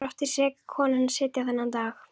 Þar átti seka konan að sitja þennan dag.